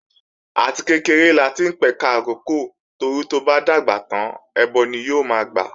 Àti kékeré láti ń pẹ̀ka ìrókò torí tó bá dàgbà tán ẹbọ ni yóò máa gbà